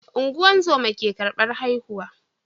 Ungozama ke karbar haihu